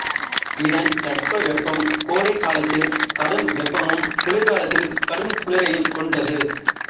இதன் தட்பவெப்பம் கோடைக் காலத்தில் கடும் வெப்பமும் குளிர்காலத்தில் கடுங்குளிரையும் கொண்டது